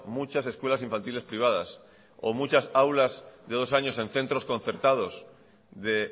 muchas escuelas infantiles privadas o muchas aulas de dos años en centros concertados de